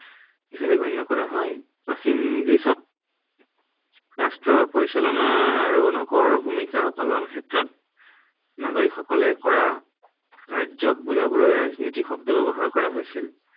হিচাপে গণ্য় কৰা হয়। প্ৰাচীন গ্ৰীচত ৰাষ্ট্ৰৰ পৰিচালনা আৰু নগৰ ভূমিকা পালনৰ ক্ষেত্ৰত নাগৰিকসকেল কৰা কাৰ্যক বুজাবলৈ ৰাজনীতি শব্দ ব্য়ৱহাৰ কৰা হৈছিল।